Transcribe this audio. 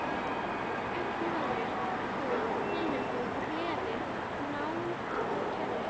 Upplifðir þú tilhlökkun og gleði, nánd og kærleika?